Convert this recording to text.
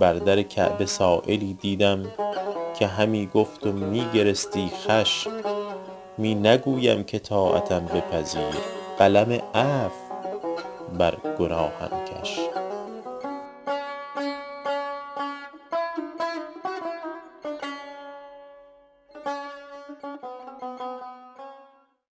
بر در کعبه سایلی دیدم که همی گفت و می گرستی خوش می نگویم که طاعتم بپذیر قلم عفو بر گناهم کش